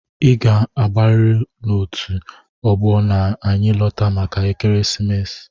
i ga abariri n'otu ọgbọ na-anyi lota màkà ekeresimesi!!!